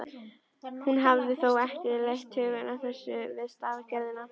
Hún hafði þó ekki leitt hugann að þessu við stafagerðina.